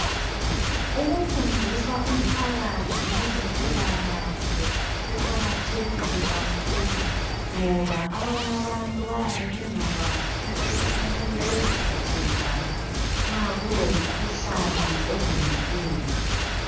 Ukufundisa umphakathi ngezempilakahle kuqakathekile kakhulu ngoba abanye abantu bayabe bengakwazi ukuthi kumele beziphathe njani nxa kulomkhuhlane odumileyo.